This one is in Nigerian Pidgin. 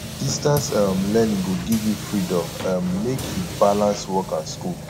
distance um learning go give you freedom um make you balance work and school